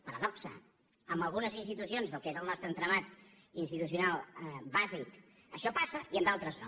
paradoxa en algunes institucions del que és el nostre entramat institucional bàsic això passa i en d’altres no